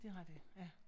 Det rigtigt ja